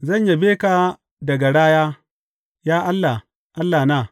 Zan yabe ka da garaya, Ya Allah, Allahna.